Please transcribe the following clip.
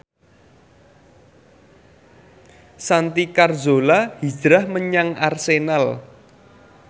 Santi Carzola hijrah menyang Arsenal